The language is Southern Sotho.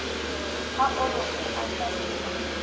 ha o re o ahlamisa